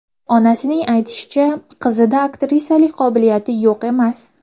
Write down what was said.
Onasining aytishicha, qizida aktrisalik qobiliyati yo‘q emas.